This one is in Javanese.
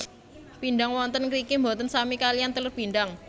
Pindang wonten ngriki boten sami kaliyan telur pindang